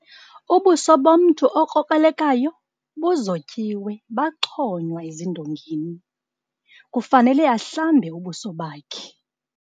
Ubuso bomntu okrokrelekayo buzotyiwe baxhonywa ezindongeni. kufanele ahlambe ubuso bakhe